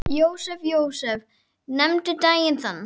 Jósep, Jósep, nefndu daginn þann.